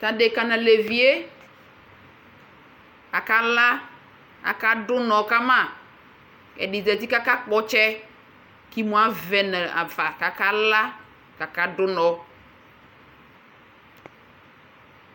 Tʋ adekǝ nʋ alevi yɛ akala Akadʋ ʋnɔ ka ma Kʋ ɛdɩ zati kʋ akakpɔ ɔtsɛ kʋ imu avɛ nafa kʋ akala kʋ akadʋ ʋnɔ